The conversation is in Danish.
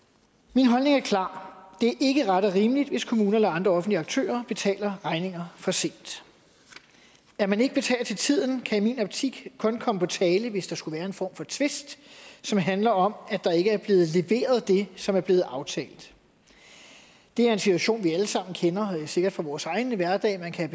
min holdning er klar det er ikke ret og rimeligt hvis kommuner eller andre offentlige aktører betaler regninger for sent at man ikke betaler til tiden kan i min optik kun komme på tale hvis der skulle være en form for tvist som handler om at der ikke er blevet leveret det som er blevet aftalt det er en situation vi alle sammen kender sikkert fra vores egen hverdag at man kan